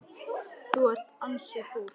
Þú ert ansi fúll.